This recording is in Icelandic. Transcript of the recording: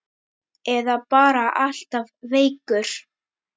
Eða bara alltaf veikur.